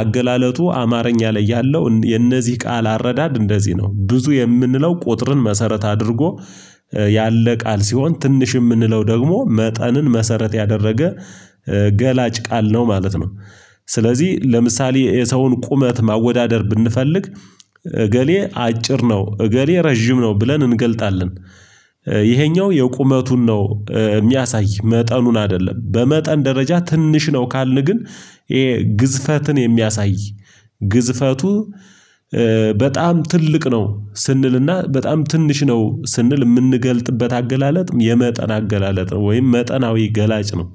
አገላለጡ አማርኛ ላይ ያለው የነዚህ ቃል አረዳድ እንደዚህ ነው ብዙ የምንለው ቁጥርን መሰረት አድርጎ ያለ ቃል ሲሆን ትንሽ የምንለው ደግሞ መጠንን መሰረት ያደረገ ገላጭ ቃል ነው ማለት ነው። ስለዚህ ለምሳሌ የሰውን ቁመት ማወዳደር ብንፈልግ እገሌ አጭር ነው እገሌ ረዥም ነው ብለን እንገልጣለን። ይሄኛው የቁመቱን ነው የሚያሳይ መጠኑን አይደለም በመጠን ደረጃ ትንሽ ነው ካልን ግን ይሄ ግዝፈትን የሚያሳይ ግዝፈቱ በጣም ትልቅ ነው ስንልና በጣም ትንሽ ነው ስንል የምንገልጥበት አገላለጥም የመጠን አገላለጥ ነው። ወይም መጠናዊ ገላጭ ነው።